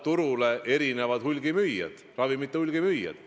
Turule toovad ravimeid ikkagi ravimite hulgimüüjad.